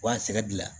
Wa sɛgɛn gilan